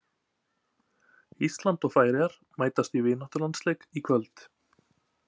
Ísland og Færeyjar mæta í vináttulandsleik í kvöld.